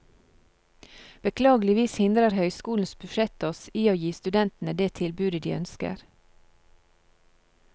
Beklageligvis hindrer høyskolens budsjett oss i å gi studentene det tilbudet de ønsker.